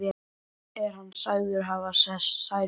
Er hann sagður hafa særst.